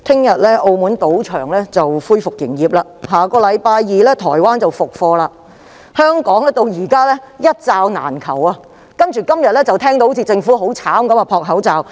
主席，澳門的賭場將於明天恢復營業，台灣亦會在下星期二復課，但香港現時仍然"一罩難求"，今天依然聽到政府在搶購口罩。